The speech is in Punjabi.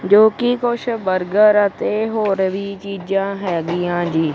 ਜੋ ਕਿ ਕੁੱਛ ਬਰਗਰ ਅਤੇ ਹੋਰ ਵੀ ਚੀਜਾਂ ਹੈੱਗੀਆਂ ਜੀ।